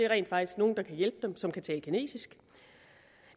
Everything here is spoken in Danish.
rent faktisk nogle der kan hjælpe dem som kan tale kinesisk